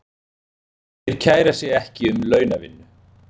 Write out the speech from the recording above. Þeir kæra sig ekki um launavinnu.